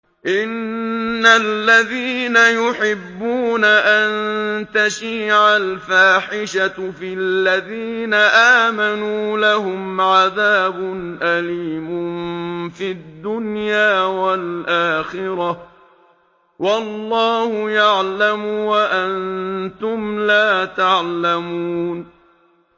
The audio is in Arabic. إِنَّ الَّذِينَ يُحِبُّونَ أَن تَشِيعَ الْفَاحِشَةُ فِي الَّذِينَ آمَنُوا لَهُمْ عَذَابٌ أَلِيمٌ فِي الدُّنْيَا وَالْآخِرَةِ ۚ وَاللَّهُ يَعْلَمُ وَأَنتُمْ لَا تَعْلَمُونَ